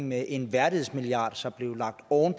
med en værdighedsmilliard som blev lagt oven